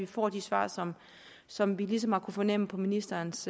får de svar som som vi ligesom har kunnet fornemme på ministerens